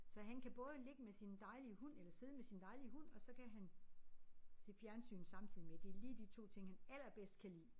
Så han kan både ligge med sin dejlige hund eller sidde med sin dejlige hund og så kan han se fjernsyn samtidig med. Det lige de 2 ting han allerbedst kan lide